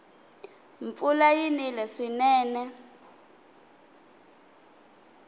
mpfula yi nile swinene